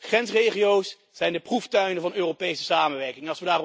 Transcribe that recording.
Grensregio's zijn de proeftuinen van Europese samenwerking.